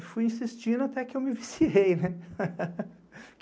E fui insistindo até que eu me viciei, né?